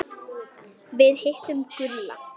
Við hittum Gulla.